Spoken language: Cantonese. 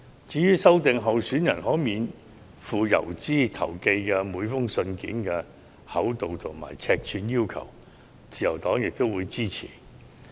至於修訂候選人可免付郵資投寄的每封信件的厚度和尺碼規定，自由黨亦表示支持。